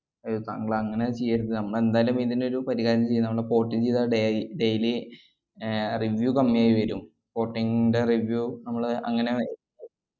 ഏർ താങ്കൾ അങ്ങനെ ചെയ്യരുത്. നമ്മളെന്തായാലും ഇതിനൊരു പരിഹാരം ചെയ്യും. നമ്മള് port ന്‍റെ ഇദായതുകൊണ്ടേ ഈ daily ഏർ review കമ്മിയായി വരും. porting ന്‍റെ review നമ്മള് അങ്ങനെ